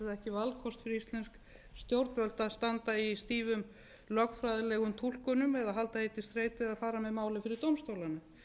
íslensk stjórnvöld að standa í stífum lögfræðilegum túlkunum eða að halda því til streitu að fara með málið fyrir dómstólana